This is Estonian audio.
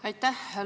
Aitäh!